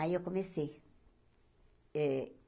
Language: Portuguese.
Aí eu comecei eh.